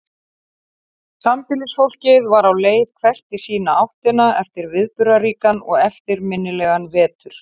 Sambýlisfólkið var á leið hvert í sína áttina eftir viðburðaríkan og eftirminnilegan vetur.